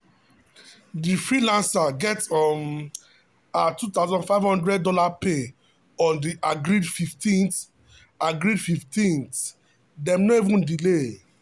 the freelancer get um her $2500 pay on the agreed 15th agreed 15th dem no even delay.